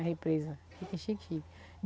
A represa fica chique chique.